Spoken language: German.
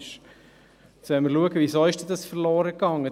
Jetzt wollen wir schauen, warum dies verloren ging.